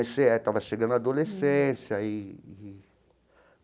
Estava chegando na adolescência eee.